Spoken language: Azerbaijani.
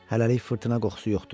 Hələlik fırtına qoxusu yoxdur.